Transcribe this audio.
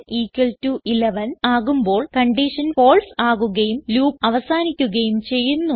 n 11 ആകുമ്പോൾ condition false ആകുകയും loop അവസാനിക്കുകയും ചെയ്യുന്നു